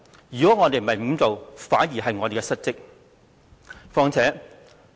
如果我們沒有這樣做，反而是我們失職。